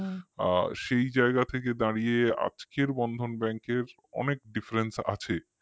আ সেই জায়গা থেকে দাঁড়িয়ে আজকের Bandhan Bank র অনেক difference আছে